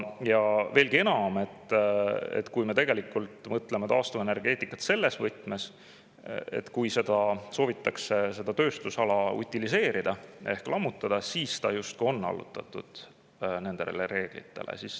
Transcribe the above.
Ja veelgi enam, mõtleme taastuvenergeetikale selles võtmes, et kui seda tööstusala soovitakse utiliseerida ehk lammutada, siis see justkui on allutatud nendele reeglitele.